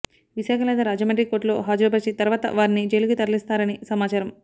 విశాఖ లేదా రాజమండ్రి కోర్టులో హాజరుపరిచి తర్వాత వారిని జైలుకి తరలిస్తారని సమాచారం